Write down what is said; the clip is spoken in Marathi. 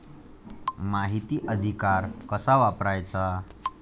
माहिती अधिकार कसा वापरायचा?